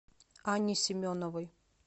анне семеновой